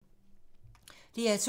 DR2